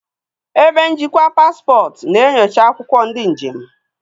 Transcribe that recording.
Ebe njikwa paspọtụ na-enyocha akwụkwọ ndị njem.